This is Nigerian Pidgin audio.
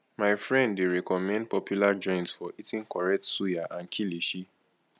my friend dey recommend popular joint for eating correct suya and kilishi